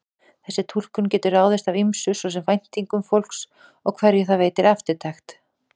Þessi túlkun getur ráðist af ýmsu, svo sem væntingum fólks og hverju það veitir eftirtekt.